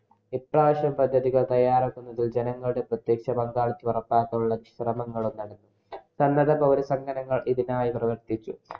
പദ്ധതികള്‍ തയ്യാറാക്കുന്നതിന് ജനങ്ങളുടെ പ്രത്യക്ഷ പങ്കാളിത്തം ഉറപ്പാക്കുന്നതിനുള്ള ശ്രമങ്ങളും നടന്നു. സന്നദ്ധ പൗരസംഘടനകള്‍ ഇതിനായി പ്രവര്‍ത്തിച്ചു.